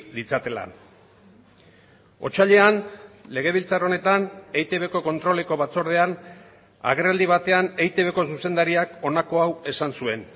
ditzatela otsailean legebiltzar honetan eitbko kontroleko batzordean agerraldi batean eitbko zuzendariak honako hau esan zuen